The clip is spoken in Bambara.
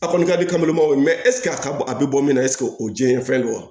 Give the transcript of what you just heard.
A kɔni kadi kami mago ɛsike a ka a bi bɔ min na ɛsike o diɲɛ fɛn don wa